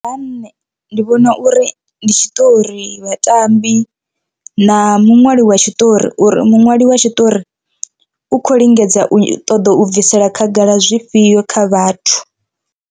Nṋe ndi vhona uri ndi tshiṱori, vhatambi na muṅwali wa tshiṱori uri muṅwali wa tshiṱori u kho lingedza u ṱoḓa u bvisela khagala zwifhio kha vhathu.